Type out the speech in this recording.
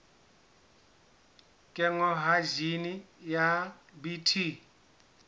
kenngwa ha jine ya bt